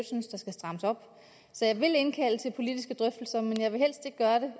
synes skal strammes op så jeg vil indkalde til politiske drøftelser men jeg vil helst ikke gøre det